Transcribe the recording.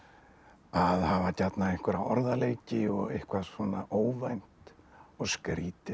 að hafa gjarnan einhverja orðaleiki og eitthvað svona óvænt og skrítið